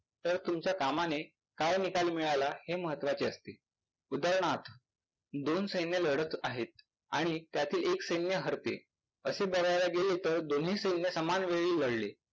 तर तुमच्या कामाने काय निकाल मिळाला हे महत्वाचे असते. उदाहरणार्थ दोन सैन्य लढत आहेत आणि त्यातले एक सैन्य हरते. असे बघायला गेले तर दोन्ही सैन्य समान वेळी लढले